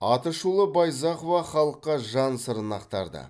атышулы байзақова халыққа жан сырын ақтарды